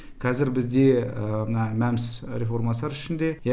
қазір бізде мәмс реформасы бар ішінде